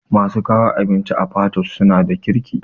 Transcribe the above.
Masu kawo abinci a patoosh suna da kirki